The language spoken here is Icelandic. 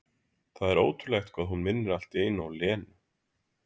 Það er ótrúlegt hvað hún minnir allt í einu á Lenu.